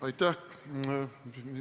Aitäh!